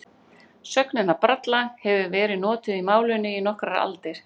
Sögnin að bralla hefur verið notuð í málinu í nokkrar aldir.